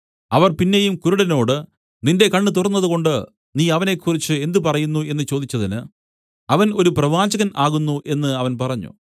അവർ പിന്നെയും കുരുടനോട് നിന്റെ കണ്ണ് തുറന്നതുകൊണ്ട് നീ അവനെക്കുറിച്ച് എന്ത് പറയുന്നു എന്നു ചോദിച്ചതിന് അവൻ ഒരു പ്രവാചകൻ ആകുന്നു എന്നു അവൻ പറഞ്ഞു